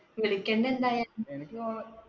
വിളിക്കണ്ട് എന്തായാലും. എനിക്ക് തോന്നണ്